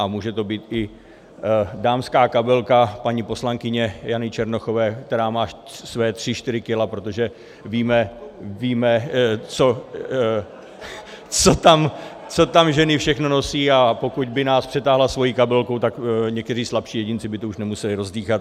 A může to být i dámská kabelka paní poslankyně Jany Černochové, která má svá tři čtyři kila, protože víme, co tam ženy všechno nosí, a pokud by nás přetáhla svou kabelkou, tak někteří slabší jedinci by to už nemuseli rozdýchat.